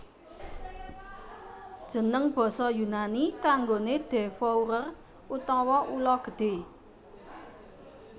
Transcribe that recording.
Jeneng basa Yunani kanggoné devourer utawa ula gedhé